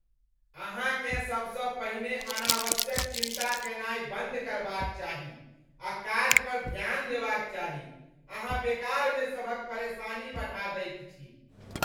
अहाँकेँ सबसँ पहिने अनावश्यक चिंता कयनाय बंद करबाक चाही आ काज पर ध्यान देबाक चाही। अहाँ बेकारमे सभक परेशानी बढ़ा दैत छी।